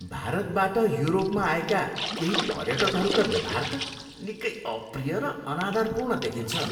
भारतबाट युरोपमा आएका केही पर्यटकहरूका व्यवहार त निकै अप्रिय र अनादरपूर्ण देखिन्छ।